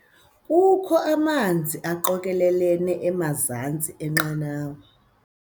Kukho amanzi aqokelelene emazantsi enqanawa.